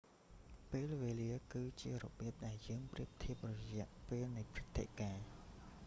ពេលវេលា គឺជារបៀប ដែលយើងប្រៀបធៀបរយៈពេលនៃព្រឹត្តិការណ៍